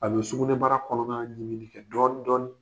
A bɛ sugunɛbara kɔnɔna ɲimi kɛ dɔɔnin dɔɔnin.